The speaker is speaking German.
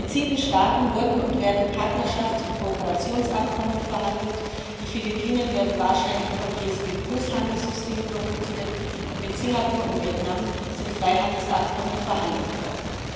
Mit sieben Staaten wurden und werden Partnerschafts und Kooperationsabkommen verhandelt, die Philippinen werden wahrscheinlich vom APS Handelssystem profitieren, und mit Singapur und Vietnam sind Freihandelsabkommen verhandelt worden.